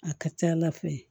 A ka ca ala fɛ